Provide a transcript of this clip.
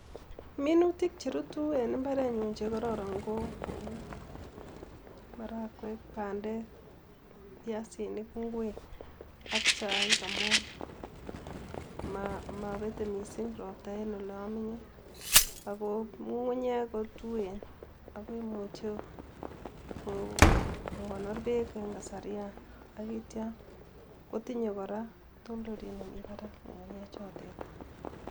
Minutik che rutu en imbarenyu che kororon ko kou, cs marakwek cs ,bandeek, piasinik ,inkwek ak chaik amun mobete misink ropta en olomenye ogo ngungunyeek kotuen ogoimuche kogonor beek en kasarian ak itio kotinyee koraa kotondondoleiwet nemi parak ngungunyechotet